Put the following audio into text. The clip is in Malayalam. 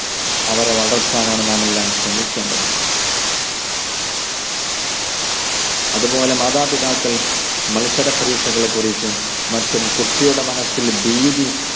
അവരെ വളർത്താൻ ആണ് നാം എല്ലാം ശ്രമിക്കേണ്ടത് അതുപോലെ മാതാപിതാക്കൾ മത്സര പരീക്ഷകളെ കുറിച്ചും മറ്റും കുട്ടിയുടെ മനസ്സിൽ ഭീതി